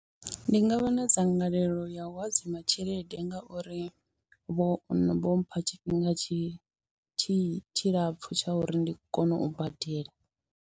Ndi nga vha na dzangalelo ya u hadzima tshelede ngauri vho m vho mpha tshifhinga tshi tshi tshilapfu tsha uri ndi kone u badela.